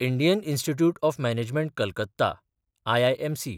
Indian Institute of Management Calcutta (IIMC)